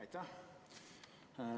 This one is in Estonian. Aitäh!